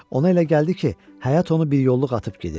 Ona elə gəldi ki, həyat onu bir yolluq atıb gedir.